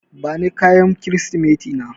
Bani kayan Kirsimeti na.